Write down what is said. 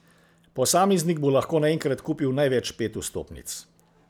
Posameznik bo lahko naenkrat kupil največ pet vstopnic.